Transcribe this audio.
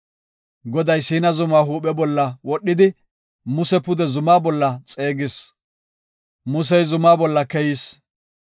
Goday Siina zumaa huuphe bolla wodhidi, Muse pude zumaa bolla xeegis. Musey zumaa bolla keyis.